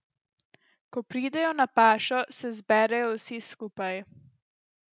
Ko pridejo na pašo, se zberejo vsi skupaj.